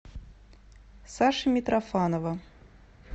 саши митрофанова